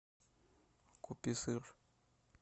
купи сыр